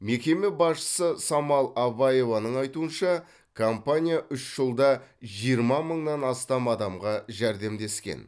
мекеме басшысы самал абаеваның айтуынша компания үш жылда жиырма мыңнан астам адамға жәрдемдескен